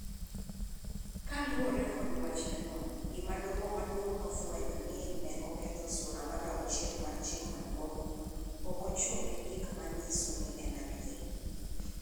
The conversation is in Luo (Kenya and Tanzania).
Kaluwore kod wachne no, gima Doho Maduong� nofwenyo ni ne oketho Sura mar Auchiel mar Chik Maduong�, ok ochung�ne gi gik ma nyiso ni en adier.